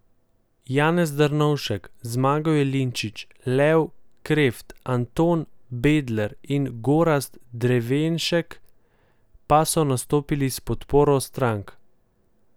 Janez Drnovšek, Zmago Jelinčič, Lev Kreft, Anton Bebler in Gorazd Drevenšek pa so nastopili s podporo strank.